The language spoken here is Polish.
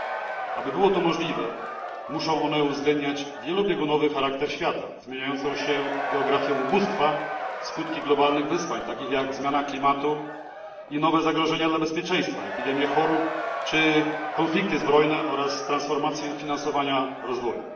r. Aby było to możliwe, muszą one uwzględniać wielobiegunowy charakter świata, zmieniającą się geografię ubóstwa, skutki globalnych wyzwań, takich jak zmiana klimatu i nowe zagrożenia dla bezpieczeństwa, epidemie chorób czy konflikty zbrojne, oraz transformację finansowania rozwoju.